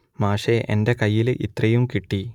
മാഷെ എന്റെ കയ്യിൽ ഇത്രയും കിട്ടി